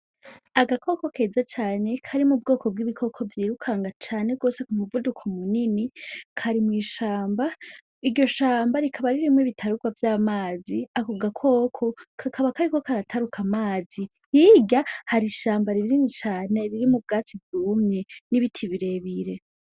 agakoko keza cane kari mubwoko bw'ibikoko vyiruka cane gose k'umuvuduko munini kari mw'ishamba iryo shamba rikaba ririmwo ibitarugwa vy'amazi ako gakoko kakaba kariko karataruka amazi, Hirya hari ishamba rinini cane ririmwo ubwatsi bwumye n'ibiti birebire.